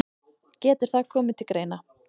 Getur það komið til greina.